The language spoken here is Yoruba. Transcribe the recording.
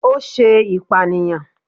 O ṣe ipaniyan